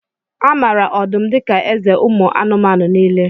A maara ọdụm dika eze ụmụ anụmanụ niile